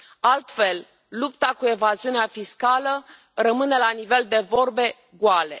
Altfel, lupta cu evaziunea fiscală rămâne la nivel de vorbe goale.